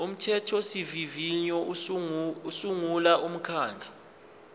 umthethosivivinyo usungula umkhandlu